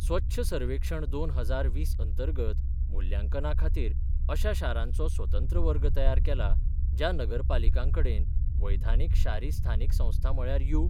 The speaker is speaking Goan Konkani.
स्वच्छ सर्वेक्षण दोन हजार वीस अंतर्गत मुल्यांकनाखातीर अशा शारांचो स्वतंत्र वर्ग तयार केला, ज्या नगरपालिकांकडेन वैधानिक शारी स्थानिक संस्था म्हळ्यार यु.